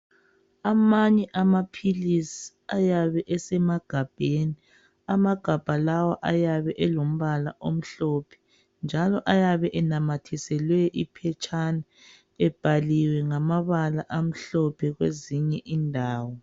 Amanye amaphilisi ayabe esemagabheni amagabha lawa ayabe elombala omhlophe njalo ayabe enamathiselwe iphetshana ebhaliwe ngamabala amhlophe kwezinye indawo.